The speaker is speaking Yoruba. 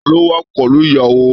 Taló wà pẹlú ìyàwó?